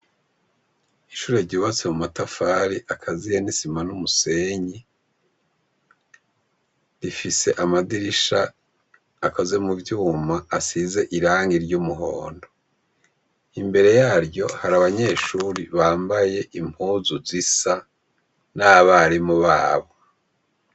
Ishure ryubatse mu matafari akaziye n'isima n'umusenyi, rifise amadirisha akoze mu vyuma ,asize irangi ry'umuhondo, imbere yaryo hari abanyeshuri bambaye impuzu zisa n'abarimu babo.